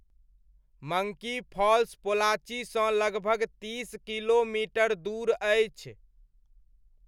Monkey Falls पोलाचीसँ लगभग तीस किलोमीटर दूर अछि।